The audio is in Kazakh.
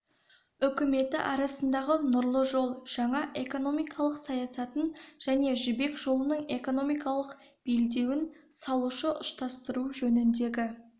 үкіметі арасындағы нұрлы жол жаңа экономикалық саясатын және жібек жолының экономикалық белдеуін салуды ұштастыру жөніндегі